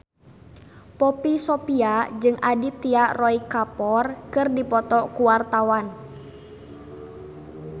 Poppy Sovia jeung Aditya Roy Kapoor keur dipoto ku wartawan